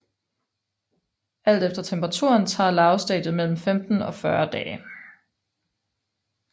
Alt efter temperaturen tager larvestadiet mellem 15 og 40 dage